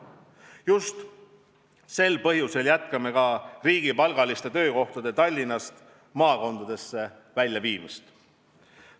Just sel põhjusel jätkame riigipalgaliste töökohtade Tallinnast maakondadesse väljaviimist.